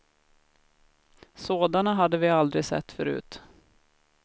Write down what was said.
Sådana hade vi aldrig sett förut.